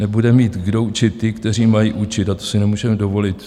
Nebude mít kdo učit ty, kteří mají učit - a to si nemůžeme dovolit."